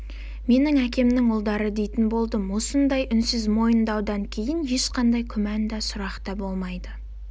менің әкемнің ұлдары дейтін болдым осындай үнсіз мойындаудан кейін ешқандай күмән да сұрақ та болмайды